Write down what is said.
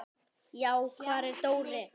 Já, hvar var Dóri?